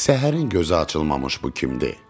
Səhərin gözü açılmamış bu kimdir?